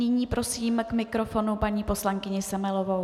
Nyní prosím k mikrofonu paní poslankyni Semelovou.